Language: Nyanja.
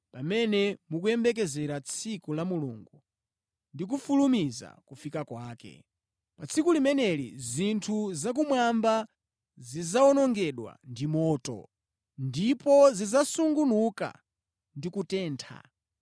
pamene mukuyembekezera tsiku la Mulungu ndi kufulumiza kufika kwake. Pa tsiku limeneli zinthu zakumwamba zidzawonongedwa ndi moto, ndipo zidzasungunuka ndi kutentha.